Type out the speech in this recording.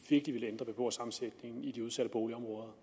virkelig vil ændre beboersammensætningen i de udsatte boligområder